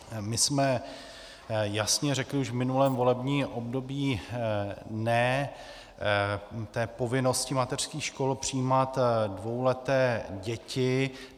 My jsme jasně řekli už v minulém volebním období "ne" té povinnosti mateřských škol přijímat dvouleté děti.